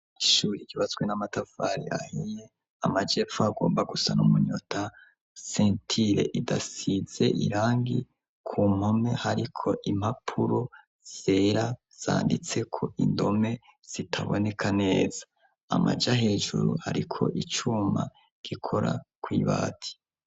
Ishuri igibazwe n'amatafari ahiye amajepfu agomba gusana umunyota sentile idasize irangi ku mpome hariko impapuro vyera zanditseko indome zitaboneka neza amaja hejuru, ariko icuma gikora kw'ibati.